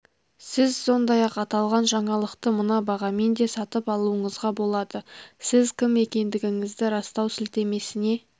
сіз сондай-ақ аталған жаңалықты мына бағамен де сатып алуыңызға болады сіз кім екендігіңізді растау сілтемесіне